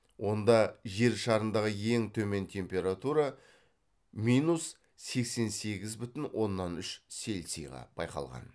онда жер шарындағы ең төмен температура минус сексен сегіз бүтін оннан үш цельсийға байқалған